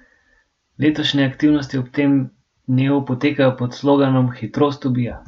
Letošnje aktivnosti ob tem dnevu potekajo pod sloganom Hitrost ubija!